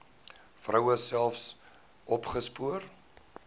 vroue self opgespoor